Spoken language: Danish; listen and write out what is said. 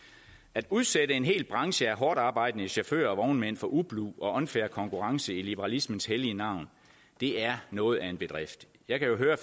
at udsætte en hel branche af hårdtarbejdende chauffører og vognmænd for ublu og unfair konkurrence i liberalismens hellige navn er noget af en bedrift jeg kan jo høre